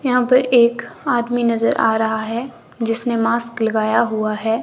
यहां पर एक आदमी नजर आ रहा है जिसने मास्क लगाया हुआ है।